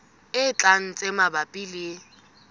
e tlang tse mabapi le